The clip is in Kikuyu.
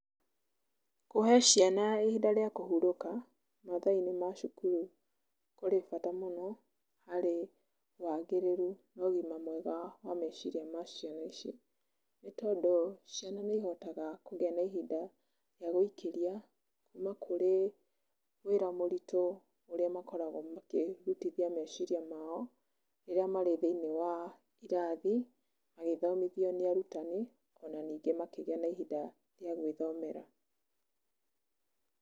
Kũhe ciana ihinda rĩa kũhurũka mathaa-inĩ ma cukuru kũrĩ bata mũno harĩ wagĩrĩru na ũgima mwega wa meciria ma ciana icio nĩ tondũ ciana nĩihotaga kũgĩa na ihinda rĩa gũikĩria kuma kũrĩ wĩra mũritũ ũrĩa makoragwo makĩrutithia meciria maao rĩrĩa marĩ thĩiniĩ wa irathi magĩthomithio nĩ arutani o na ningĩ makĩgĩa na ihinda rĩa gũĩthomera.